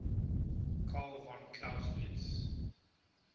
carl von clausewitz